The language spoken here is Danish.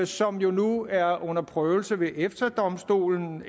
som jo nu er under prøvelse ved efta domstolen